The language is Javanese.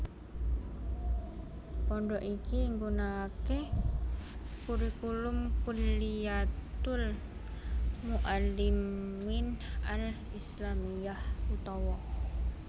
Pondhok iki nggunakaké kurikulum Kulliyatul Mu allimin Al Islamiyah utawa